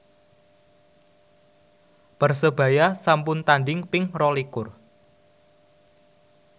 Persebaya sampun tandhing ping rolikur